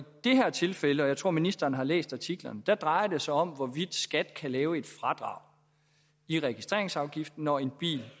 det her tilfælde og jeg tror at ministeren har læst artiklerne drejer det sig om hvorvidt skat kan lave et fradrag i registreringsafgiften når en bil